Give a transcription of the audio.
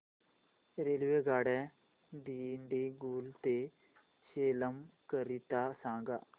रेल्वेगाड्या दिंडीगुल ते सेलम करीता सांगा